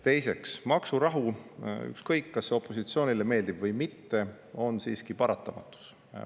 Teiseks, maksurahu, ükskõik, kas see opositsioonile meeldib või mitte, on siiski paratamatus.